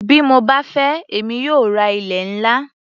Bí mo bá fẹ́ èmi yóò ra ilé-ńlá.